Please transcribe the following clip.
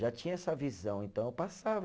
Já tinha essa visão, então eu passava.